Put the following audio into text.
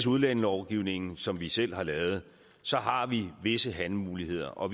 udlændingelovgivningen som vi selv har lavet så har vi visse handlemuligheder og